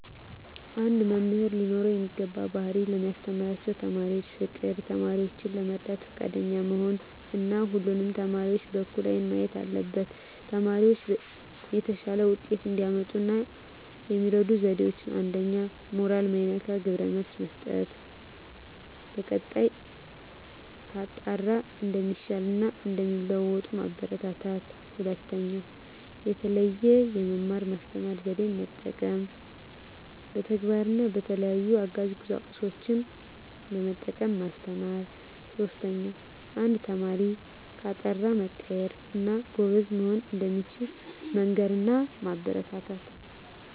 አንድ መምህር ሊኖረው የሚገባው ባህሪ ለሚያስተምራቸው ተማሪዎች ፍቅር፣ ተማሪዎችን ለመርዳት ፈቃደኛ መሆን እና ሁሉንም ተማሪዎች በእኩል አይን ማየት አለበት። ተማሪዎች የተሻለ ውጤት እንዲያመጡ የሚረዱ ዜዴዎች 1ኛ. ሞራል ማይነካ ግብረ መልስ መስጠት፣ በቀጣይ ከጣረ እንደሚሻሻል እና እንደሚለዎጡ ማበራታታት። 2ኛ. የተለየ የመማር ማስተማር ዜዴን መጠቀም፣ በተግባር እና በተለያዩ አጋዥ ቁሳቁሶችን በመጠቀም ማስተማር። 3ኛ. አንድ ተማሪ ከጣረ መቀየር እና ጎበዝ መሆን እንደሚችል መንገር እና ማበረታታት።